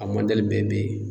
A mɔdɛli bɛɛ be yen